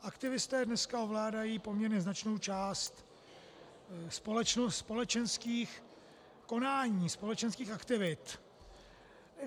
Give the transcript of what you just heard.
Aktivisté dneska ovládají poměrně značnou část společenských konání, společenských aktivit.